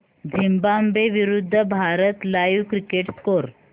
Zimbabwe विरूद्ध Bharat live cricket score